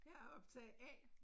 Jeg er optager A